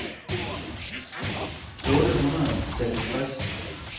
otte hundrede og seksogtres